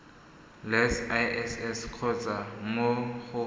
le iss kgotsa mo go